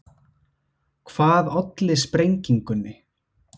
Hvað olli sprengingunni